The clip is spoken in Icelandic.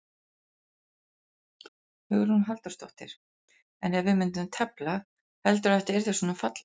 Hugrún Halldórsdóttir: En ef við myndum tefla, heldurðu að þetta yrði svona fallegt?